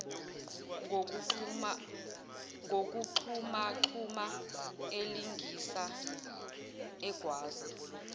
ngokugxumagxuma elingisa egwaza